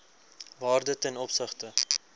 waarde ten opsigte